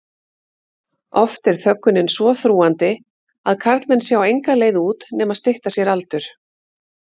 Oft er þöggunin svo þrúgandi að karlmenn sjá enga leið út nema stytta sér aldur.